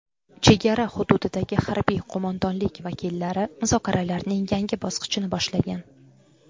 Chegara hududidagi harbiy qo‘mondonlik vakillari muzokaralarning yangi bosqichini boshlagan.